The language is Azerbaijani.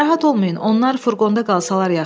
Narahat olmayın, onlar furqonda qalsalar yaxşıdır.